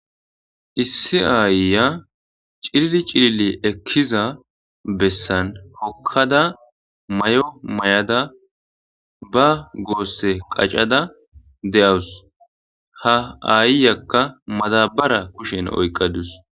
Issi aayya cilili cilili ekkiza bessan hokkada may7o may7ada ba goosse qaccada de7awus ha aayyakka madabara kushen oyqqadus.